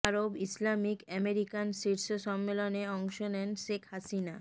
আরব Islamic American শীর্ষ সম্মেলনে অংশ নেন শেখ হাসিনা